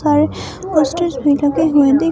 पर पोस्टर्स भी लगे हुए दिख--